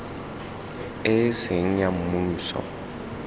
e e seng ya mmuso